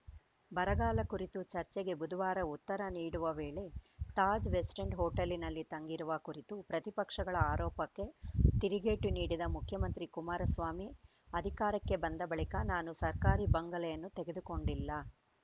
ಬರಗಾಲ ಕುರಿತ ಚರ್ಚೆಗೆ ಬುಧವಾರ ಉತ್ತರ ನೀಡುವ ವೇಳೆ ತಾಜ್‌ ವೆಸ್ಟ್‌ ಎಂಡ್‌ ಹೋಟೆಲ್‌ನಲ್ಲಿ ತಂಗಿರುವ ಕುರಿತು ಪ್ರತಿಪಕ್ಷಗಳ ಆರೋಪಕ್ಕೆ ತಿರುಗೇಟು ನೀಡಿದ ಮುಖ್ಯಮಂತ್ರಿ ಕುಮಾರಸ್ವಾಮಿ ಅಧಿಕಾರಕ್ಕೆ ಬಂದ ಬಳಿಕ ನಾನು ಸರ್ಕಾರಿ ಬಂಗಲೆಯನ್ನು ತೆಗೆದುಕೊಂಡಿಲ್ಲ